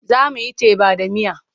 Za mu yi teba da miya.